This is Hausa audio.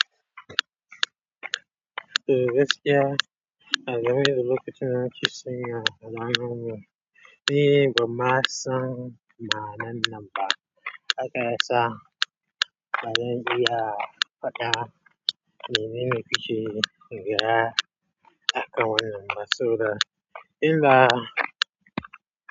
Eh gaskiya a game da lokacin na ke son ya ga number ni ban ma san ma'anan nan ba haka ya sa bazan iya faɗan menene ku ke faɗa a kan wannan ba saboda in da.